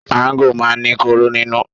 Máńgò máa ń ní kóró nínú.